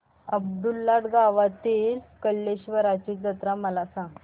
अब्दुललाट गावातील कलेश्वराची जत्रा मला सांग